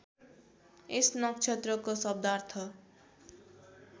यस नक्षत्रको शब्दार्थ